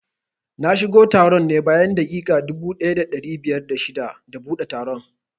Na shigo taron ne bayan daƙiƙa dubu ɗaya da ɗari biyar da shida da buɗe taron